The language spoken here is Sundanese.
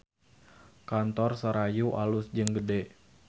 Kantor Serayu alus jeung gede